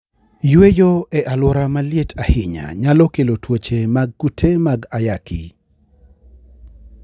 Yueyo e alwora maliet ahinya nyalo kelo tuoche mag kute mag ayaki.